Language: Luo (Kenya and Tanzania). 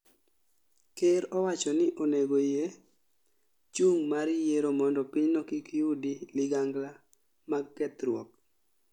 Ker owacho ni onego yie chung' mar yiero mondo pinyno kik yudi ligangla mag kethruok